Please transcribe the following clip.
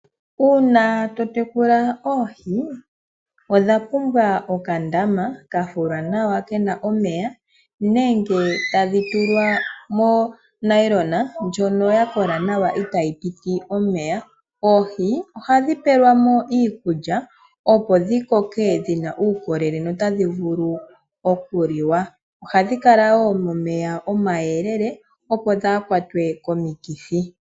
Uuna to tekula oohi odha pumbwa okandama ka fulwa nawa kena omeya nenge tadhi tulwa monayilona ndjono ya kola nawa itaayi piti omeya. Oohi ohadhi pelwa mo iikulya opo dhi koke dhina uukolele notadhivulu okuliwa. Ohadhi kala wo momeya omayelele opo kaadhi kwatwe komikithi.